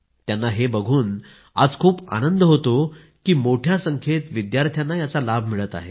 त्यांना हे बघून आज खूप आनंद होतो की मोठ्या संख्येत विद्यार्थ्यांना याचा लाभ मिळत आहे